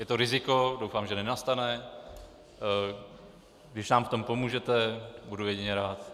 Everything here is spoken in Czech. Je to riziko, doufám, že nenastane, když nám v tom pomůžete, budu jedině rád.